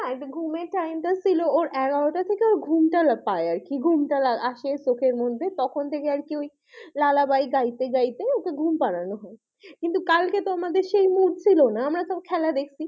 ঘুমের time টা ছিল ওর এগারোটা থেকে ওর ঘুমটা লা পাই আরকি ঘুমটা আসে চোখের মধ্যে তখন থেকে আর কি ওই লালা বাই গাইতে গাইতে ওকে ঘুম পাড়ানো হয় কিন্তু কালকে তো আমাদের সেই mood ছিল না আমরা সব খেলা দেখছি,